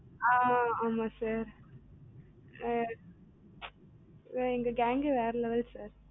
ஆஹ் ஆமா sir எங்க gang கே வேற level sir